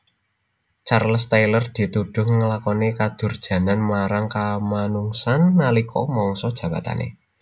Charles Taylor ditudhuh nglakoni kadurjanan marang kamanungsan nalika mangsa jabatané